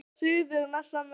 Hvað segja Suðurnesjamenn